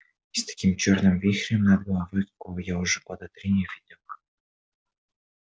и с таким чёрным вихрем над головой какого я уже года три не видел